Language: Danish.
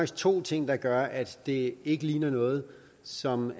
to ting der gør at det ikke ligner noget som